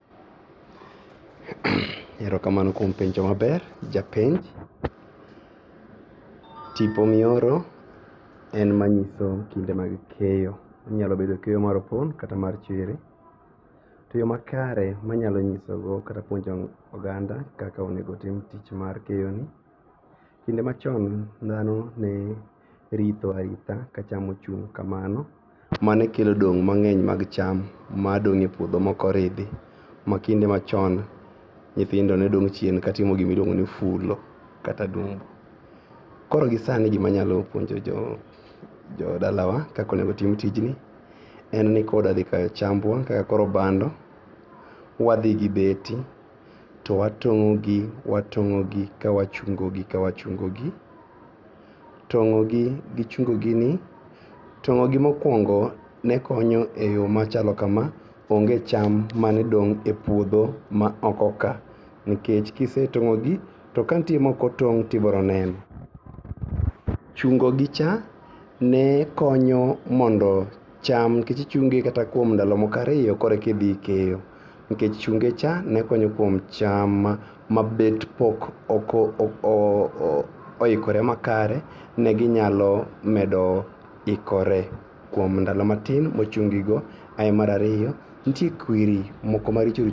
Erokamano kuom penjo maber japenj tipo mioro en manyiso kinde mag keyo. Onyalo bedo keyo mar opon kata mar chere. To yo makare manyalonyisogo kata puonjo oganda kaka onego otim tich mar keyoni. Kinde machon dhano neritho aritha kacham ochung' kamano manekelo dong' mang'eny mag cham madong'e puodho mokoridhi makinde machon nyithindo nedong' chien katimo gimiluongoni fulo kata dumbo. Koro gisani gimanyalo puonjo jodalawa kakonegotim tijni en kodadhikayo chambwa kaka koro bando wadhigi beti to watong'ogi ka wachungogi kawachungogi. Tong'ogi gi chungogini. Tong'ogi mokuongo nekonyo e yoo machalo kama, onge cham manedong' e puodho ma oko ka nikech kisetong'ogi to kantie mokotong' tibroneno. Chungogicha nekonyo mondo cham kech ichunge kuom ndalo ariyo korekidhi ikeyo nikech chungecha nekonyo kuom cham mabet pok ooooikore makare neginyalo medo ikore kuom ndalo matin mochunggigo. Ae marariyo nitie kweri moko maricho richo